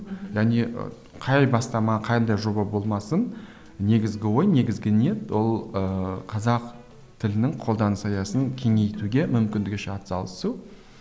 және ы қай бастама қандай жоба болмасын негізгі ой негізгі ниет ол ыыы қазақ тілінің қолданыс аясын кеңейтуге мүмкіндігінше атсалысу